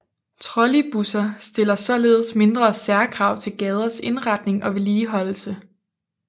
Trolleybusser stiller således mindre særkrav til gaders indretning og vedligeholdelse